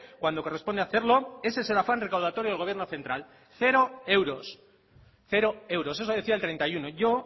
cuando corresponde hacerlo ese es el afán recaudatorio del gobierno central cero euros cero euros eso decía el treinta y uno yo